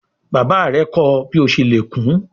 Bàbá rè kò ọ bí o ṣe lè kún.